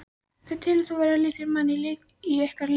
Hvern telur þú vera lykilmann í ykkar liði?